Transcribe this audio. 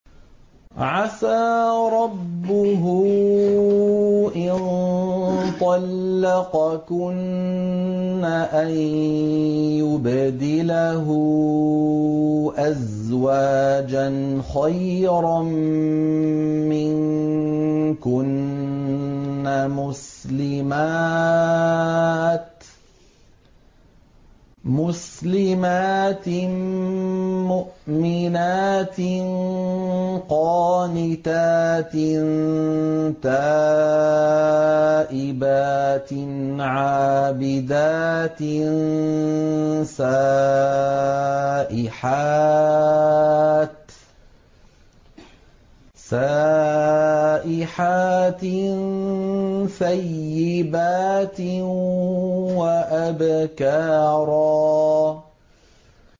عَسَىٰ رَبُّهُ إِن طَلَّقَكُنَّ أَن يُبْدِلَهُ أَزْوَاجًا خَيْرًا مِّنكُنَّ مُسْلِمَاتٍ مُّؤْمِنَاتٍ قَانِتَاتٍ تَائِبَاتٍ عَابِدَاتٍ سَائِحَاتٍ ثَيِّبَاتٍ وَأَبْكَارًا